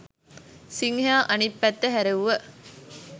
සිංහයා අනිත් පැත්ත හැරෙව්ව